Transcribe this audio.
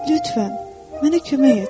Lütfən, mənə kömək et.